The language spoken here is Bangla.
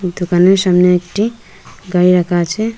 দোকানের সামনে একটি গাড়ি রাকা আছে।